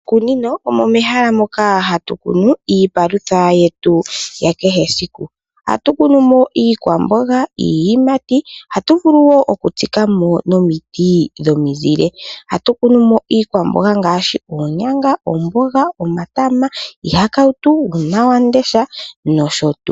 Miikunino omo mehala moka hatu kunu iipalutha yetu ya kehe esiku, ohatu kunu mo iikwamboga, iiyimati, ohatu vulu woo oku tsika mo nomiti dhomizile. Ohatu kunu mo iikwamboga ngaashi oonyanga, oomboga, omatama, iihakautu uuna wamundesha nosho tuu.